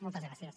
moltes gràcies